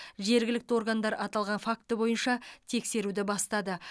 жергілікті органдар аталған факті бойынша тексеруді бастады